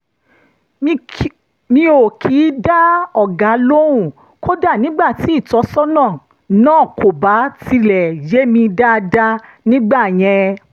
mi ò kì í dá ọ̀gá lóhùn kódà nígbà tí ìtọ́sọ́nà náà kò bá tiẹ̀ yé mi dáadáa nígbà yẹn